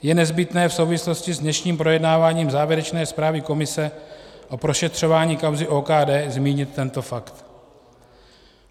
Je nezbytné v souvislosti s dnešním projednáváním závěrečné zprávy komise a prošetřování kauzy OKD zmínit tento fakt.